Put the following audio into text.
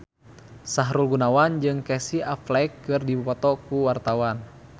Sahrul Gunawan jeung Casey Affleck keur dipoto ku wartawan